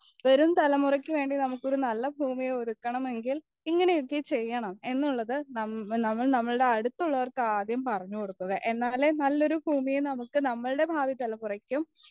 വരും തലമുറക്കുവേണ്ടി നമ്മുക്ക് നല്ലൊരു ഭൂമിയെ ഒരുക്കണമെങ്കിൽ ഇങ്ങനെയൊക്കെ ചെയ്യണം എന്നുള്ളത് നമ്മൾ നമ്മളുടെ അടുത്തുള്ളവർക്ക് ആദ്യം പറഞ്ഞുകൊടുക്കുക എന്നാലേ നല്ലൊരു ഭൂമിയെ നമ്മുക്കും നമ്മളുടെ ഭാവി തലമുറക്കും